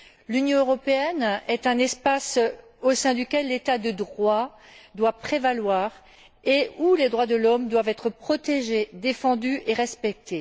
L'Union européenne est un espace au sein duquel l'état de droit doit prévaloir et où les droits de l'homme doivent être protégés, défendus et respectés.